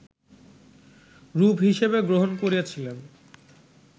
রূপ হিসেবে গ্রহণ করেছিলেন